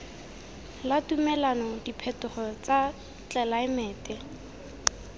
la tumelano diphetogo tsa tlelaemete